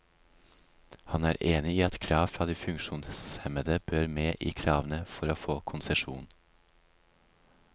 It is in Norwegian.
Han er enig i at krav fra de funksjonshemmede bør med i kravene for å få konsesjon.